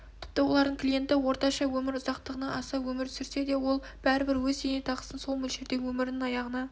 тіпті олардың клиенті орташа өмір ұзақтығынан аса өмір сүрсе де ол бәрібір өз зейнетақысын сол мөлшерде өмірінің аяғына